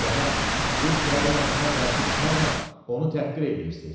Cənab, siz kralın əmrinə qarşı çıxmaqla onu təhqir eləyirsiz.